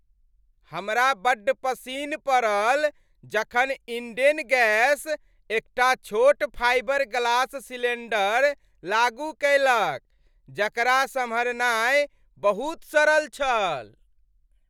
हमरा बड्ड पसिन्न पड़ल जखन इंडेन गैस एकटा छोट फाइबर ग्लास सिलेंडर लागू कएलक जकरा सम्हारनाय बहुत सरल छल।